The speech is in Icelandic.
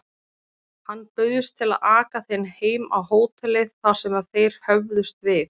Hann bauðst til að aka þeim heim á hótelið, þar sem þeir höfðust við.